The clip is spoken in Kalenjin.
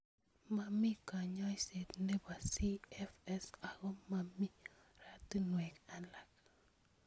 Momi kanyoiset nebo CFS ako momi oratunwek alak.